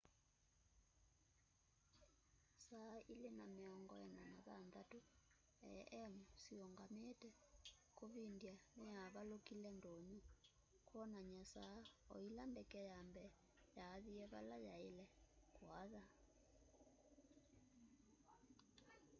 saa 8:46 a.m siungamite kuvindya niyavalukile ndunyu kwonany'a saa o ila ndeke ya mbee yaathie vala yaaile kuatha